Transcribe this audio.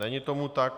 Není tomu tak.